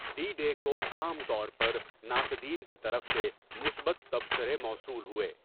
D Day کو عام طور پر ناقدین کی طرف سے مثبت تبصرے موصول ہوئے.